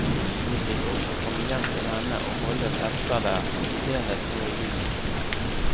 Vi fikk også komme hjem til henne og holde fester der, senest nå i juni.